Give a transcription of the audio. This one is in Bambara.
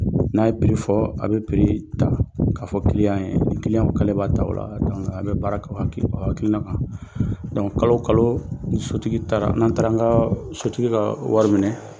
N'a ye piri fɔ a bɛ piri ta k'a fɔ kiliyan ye kiliyan k'ale b'a ta o la a bɛ baara kɛ o kakilina kan kalo o kalo sotigi taara n'an taara an ka sotigi ka wari minɛ